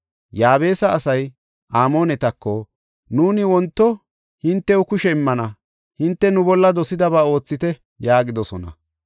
Yaabesa asay Amoonetako, “Nuuni wonto hintew kushe immana; hinte nu bolla dosidaba oothite” yaagidosona.